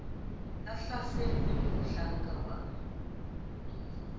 a hlasetswe ke mohlakana wa